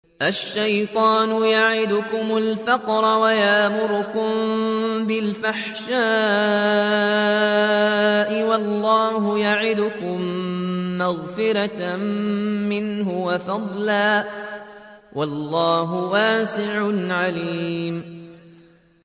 الشَّيْطَانُ يَعِدُكُمُ الْفَقْرَ وَيَأْمُرُكُم بِالْفَحْشَاءِ ۖ وَاللَّهُ يَعِدُكُم مَّغْفِرَةً مِّنْهُ وَفَضْلًا ۗ وَاللَّهُ وَاسِعٌ عَلِيمٌ